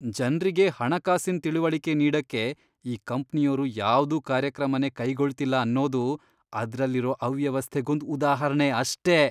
ಜನ್ರಿಗೆ ಹಣಕಾಸಿನ್ ತಿಳಿವಳಿಕೆ ನೀಡಕ್ಕೆ ಈ ಕಂಪ್ನಿಯೋರು ಯಾವ್ದೂ ಕಾರ್ಯಕ್ರಮನೇ ಕೈಗೊಳ್ತಿಲ್ಲ ಅನ್ನೋದು ಅದ್ರಲ್ಲಿರೋ ಅವ್ಯವಸ್ಥೆಗೊಂದ್ ಉದಾಹರ್ಣೆ ಅಷ್ಟೇ.